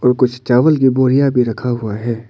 और कुछ चावल की बोरियां भी रखा हुआ है।